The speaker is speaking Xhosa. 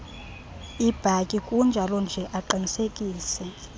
ibhatyi kunjalonje aqinisekise